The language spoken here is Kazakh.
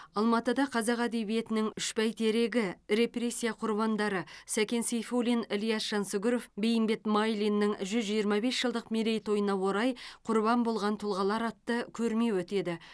алматыда қазақ әдебиетінің үш бәйтерегі репрессия құрбандары сәкен сейфуллин ілияс жансүгіров бейімбет майлиннің жүз жиырма бес жылдық мерейтойына орай құрбан болған тұлғалар атты көрме өтеді